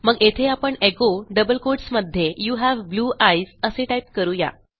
मग येथे आपण echoडबल कोटस मध्ये यू हावे ब्लू आयस असे टाईप करू या